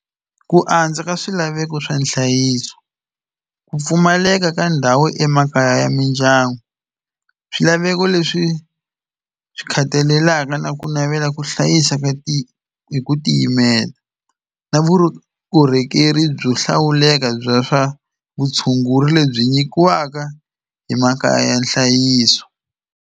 Ku andza ka swilaveko swa nhlayiso ku pfumaleka ka ndhawu emakaya ya mindyangu swilaveko leswi swi khathalelaka na ku navela ku hlayisa ka ti hi ku tiyimela na vukorhokeri byo hlawuleka bya swa vutshunguri lebyi nyikiwaka hi makaya ya nhlayiso.